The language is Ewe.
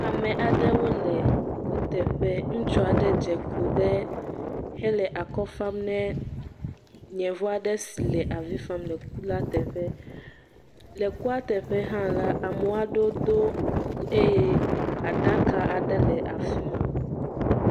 Ame aɖewo le kuteƒe. Ŋutsu aɖe dze klo ɖe hele akɔ fam ne yevu aɖe si le avi fam le ku la teƒe. Le kua teƒe hã la, ame aɖewo do kuku eye aɖaka aɖe le afi ma.